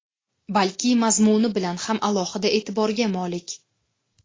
balki mazmuni bilan ham alohida e’tiborga molik.